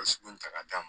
ta k'a d'a ma